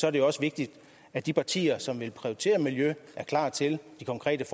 er det jo også vigtigt at de partier som vil prioritere miljøet er klar til de konkrete